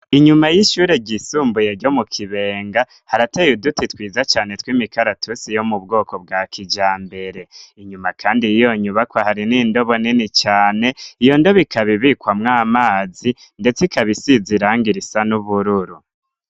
Inyuma y'ishure ryisumbuye ryo mu kibenga harateye duti twiza cane tw'imikaratusi yo mu bwoko bwa kija mbere, inyuma kandi iyonyubaka hari n'indobo nini cane iyo ndobikabibikwamwo amazi, ndetse ikabisizirangir isa n'ubururu.